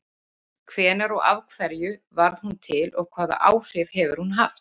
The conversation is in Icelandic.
Hvenær og af hverju varð hún til og hvaða áhrif hefur hún haft?